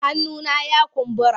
Hannuna ya kumbura.